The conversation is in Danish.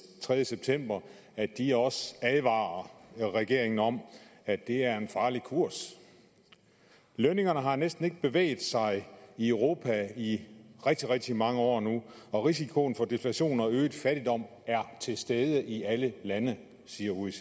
tredje september at de også advarer regeringen om at det er en farlig kurs lønningerne har næsten ikke bevæget sig i europa i rigtig rigtig mange år nu og risikoen for deflation og øget fattigdom er til stede i alle lande siger oecd